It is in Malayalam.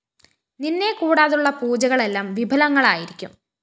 നിന്നെ കൂടാതുള്ള പൂജകളെല്ലാം വിഫലങ്ങളായിരിക്കും